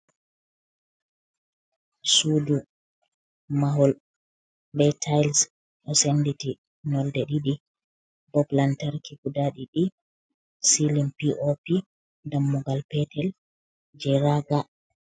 Suɗu, mahol be tatils ɗo senɗiti nolɗe ɗiɗi. bop lantarki guɗa ɗiɗi. Silim piopi. Ɗammugal petel je raga.